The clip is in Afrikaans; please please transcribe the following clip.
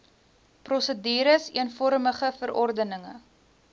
prosedures eenvormige verordenige